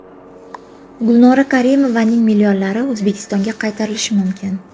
Gulnora Karimovaning millionlari O‘zbekistonga qaytarilishi mumkin.